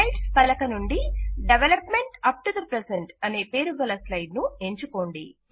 slides పలక నుండి development up to the present అనే పేరుగల స్లైడ్ ను ఎంచుకోండి